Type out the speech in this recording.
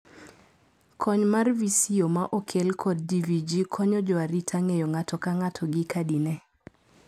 Kony mar Visio ma okel kod GVG konyo joarita ng'eyo ng'ato ka ng'ato gi kadi ne.